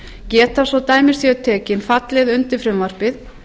geta svo dæmi séu tekin fallið undir frumvarpið